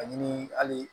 Ani hali